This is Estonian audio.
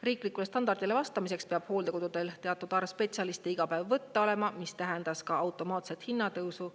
Riiklikule standardile vastamiseks peab hooldekodudel teatud arv spetsialiste iga päev võtta olema, mis tähendas ka automaatset hinnatõusu.